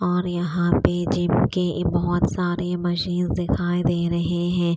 और यहां पे जिम के ये बहोत सारे मशीन दिखाई दे रहे है।